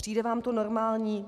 Přijde vám to normální?